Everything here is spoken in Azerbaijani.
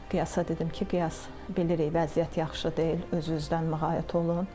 Qiyasa dedim ki, Qiyas bilirik vəziyyət yaxşı deyil, özünüzdən muğayat olun.